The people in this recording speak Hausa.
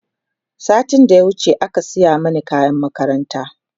satin da ya wuce aka saya Mani kayan makaranta